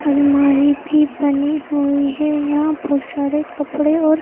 अलमारी भी बनी हुई है यहां बहुत सारे कपड़े और--